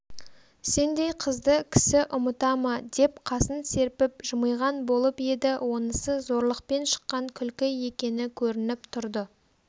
сендей қызды кісі ұмыта ма деп қасын серпіп жымиған болып еді онысы зорлықпен шыққан күлкі екені көрініп тұрды